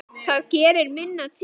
Það gerir minna til.